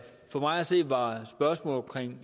for mig at se var spørgsmålet